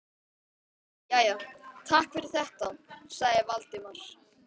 Jæja, takk fyrir þetta- sagði Valdimar.